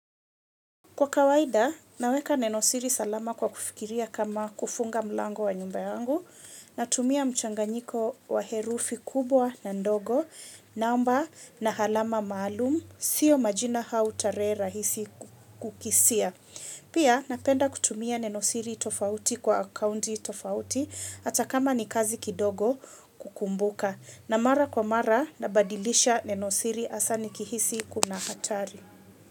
Kwa kawaida, naweka neno siri salama kwa kufikiria kama kufunga mlango wa nyumba yangu, natumia mchanganyiko wa herufi kubwa na ndogo, naomba na halama maalum, sio majina au tarehe rahisi kukisia. Pia, napenda kutumia neno siri tofauti kwa akaunti tofauti, hata kama ni kazi kidogo kukumbuka. Na mara kwa mara, nabadilisha nenosiri hasa nikihisi kuna hatari.